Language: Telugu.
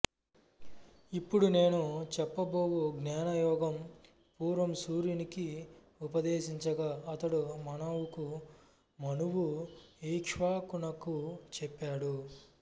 ఇప్పుడు నేను చెప్పబోవు జ్ఞానయోగం పూర్వం సూర్యునికి ఉపదేశించగా అతడు మనువుకు మనువు ఇక్ష్వాకునకు చెప్పాడు